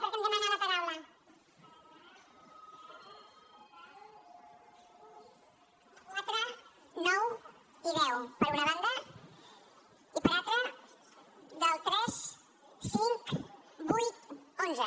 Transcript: per demanar votació separada de l’un bis quatre nou i deu per una banda i per l’altra del tres cinc vuit onze